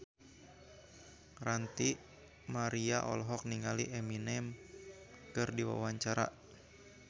Ranty Maria olohok ningali Eminem keur diwawancara